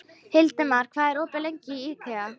Hildimar, hvað er opið lengi í IKEA?